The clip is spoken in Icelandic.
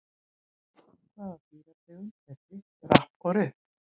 Hvaða dýrategund eru Ripp, Rapp og Rupp?